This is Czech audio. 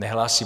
Nehlásí.